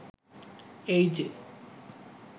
এই যে